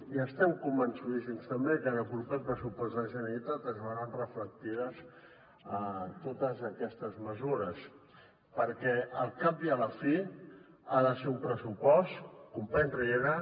i estem convençudíssims també que en el proper pressupost de la generalitat es veuran reflectides totes aquestes mesures perquè al cap i a la fi ha de ser un pressupost company riera